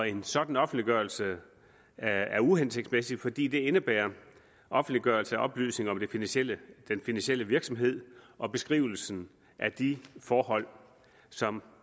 en sådan offentliggørelse er er uhensigtsmæssig fordi det indebærer offentliggørelse af oplysninger om den finansielle finansielle virksomhed og beskrivelse af de forhold som